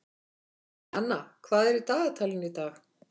Jana, hvað er í dagatalinu í dag?